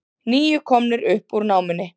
Níu komnir upp úr námunni